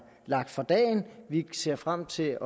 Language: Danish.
lagt for dagen vi ser frem til